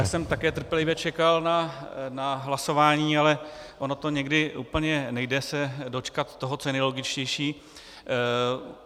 Já jsem také trpělivě čekal na hlasování, ale ono to někdy úplně nejde se dočkat toho, co je nejlogičtější.